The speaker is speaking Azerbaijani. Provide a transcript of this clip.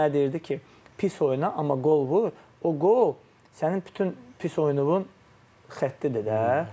Özü mənə deyirdi ki, pis oyna, amma qol vur, o qol sənin bütün pis oyununun xəttidir də.